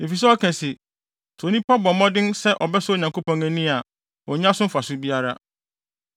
Efisɛ ɔka se, ‘Sɛ onipa bɔ mmɔden sɛ ɔbɛsɔ Onyankopɔn ani a onnya so mfaso biara.’